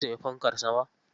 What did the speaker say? Kin sayi fankar sama?